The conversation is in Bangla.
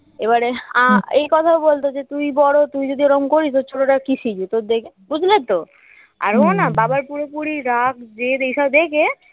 এবারে আ এই কথা বলতো যে তুই বড় তুই যদি ওরকম করিস তোর ছোটটা আর কি শিখবে তোর দেখে বুঝলে তো আর ও না বাবার পুরোপুরি রাগ জেদ এইসব দেখে